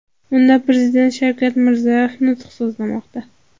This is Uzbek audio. Unda Prezident Shavkat Mirziyoyev nutq so‘zlamoqda.